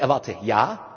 Ich erwarte